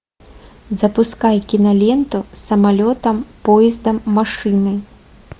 запускай киноленту самолетом поездом машиной